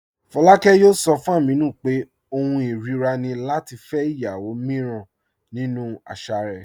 Fọláàkẹ̀ yóò sọ̀ fún Ámínù pé ọ̀hùn irira ni lati fẹ́ ìyàwó míràn nínu àṣà rẹ̀.